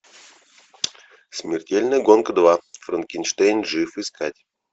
смертельная гонка два франкенштейн жив искать